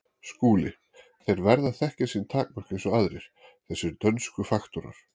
SKÚLI: Þeir verða að þekkja sín takmörk eins og aðrir, þessir dönsku faktorar.